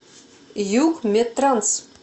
югмедтранс